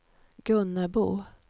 Gunnebo